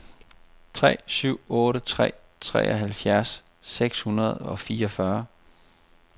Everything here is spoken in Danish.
tre syv otte tre treoghalvfjerds seks hundrede og fireogfyrre